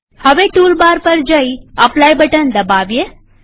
હવે toolbar પર જઈઅપ્લાય બટન દબાવીએ